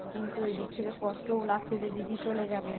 কিন্তু এদিক থেকে কষ্টও লাগছে যে দিদি চলে যাবে